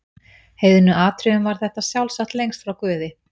heiðnu atriðum var þetta sjálfsagt lengst frá guði.